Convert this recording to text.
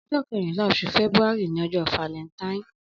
Ọjọ kẹrinlà óṣú fẹbúàrí ni ọjọ fàlẹntáìn